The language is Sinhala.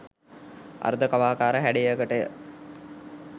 අර්ධ කවාකාර හැඩයකටය.